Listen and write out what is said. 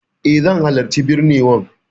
Eh, zan halarci binnewan.